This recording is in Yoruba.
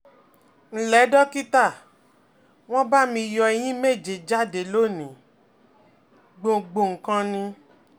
ǹlẹ́ dókítà, won ba mi yo eyín méje jáde lónìí, gbòǹgbò nìkan ni